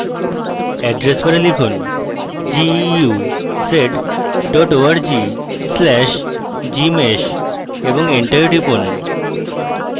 address bar লিখুন: